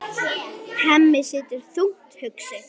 Hemmi situr enn þungt hugsi.